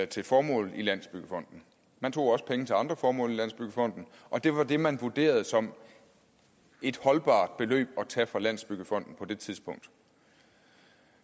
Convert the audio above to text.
til formålet i landsbyggefonden man tog også penge til andre formål i landsbyggefonden og det var det man vurderede som et holdbart beløb at tage fra landsbyggefonden på det tidspunkt